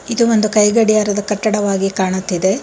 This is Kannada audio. ಇದು ಒಂದು ಕೈ ಗಡಿಯಾರದ ಕಟ್ಟಡವಾಗಿ ಕಾಣುತ್ತಿದೆ.